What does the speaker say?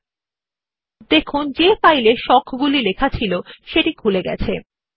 এখন শিরোনাম হবিস এর উপর কার্সারটি বসান এবং কন্ট্রোল কী ও মাউস এর বাম বাটন একসাথে টিপুন